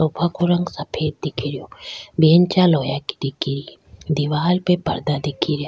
सोफे को रंग सफ़ेद दिख रो बेंचा लोहे की दिख री दीवार पर परदा दिख रा।